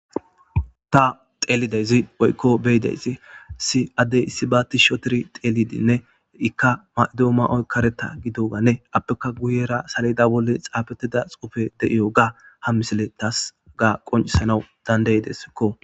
Ta tellidayizi woyikko beyidayizzi issi addey issi ba tishshi ottidinne ika ma'oyi karetta giddoganne appeka guyera saledda bolla xaffetida xuffey de'yoga ha missiley tasi haga qonccisanaw dandayidesko.